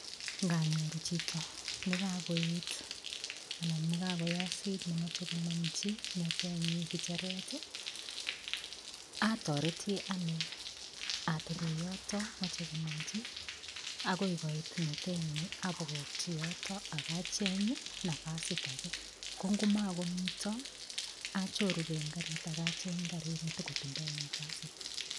Nganyoru chito nekakoet anan nekakoyosit nemochei konomchi ng'etenyi kicheret atoreti ane atebe yoto mochei konomchi akoi koit ng'etenyi abokokchi yoto akacheny nafasit age kongumakomito achorugei eng' karit akacheny karit netikotindoi nafasit